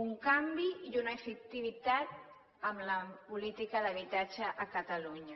un canvi i una efectivitat en la política d’habitatge a catalunya